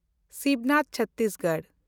Sibnath Chhattisgarh